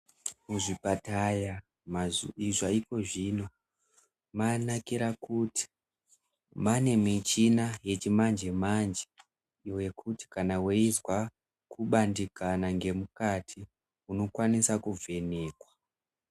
Muzvipataya zvaiko zvino manakira kuti maane michina yechimanje manje wekuti kana weizwa kubandikana ngemukati unokwanisa kuvhenekwa.